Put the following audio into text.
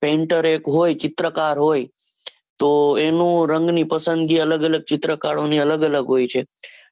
Painter એક હોય ચિત્રકાર હોય, તો એનું રંગ ની પસંદગી અલગ અલગ ચિત્રકારોની અલગ અલગ હોયછે.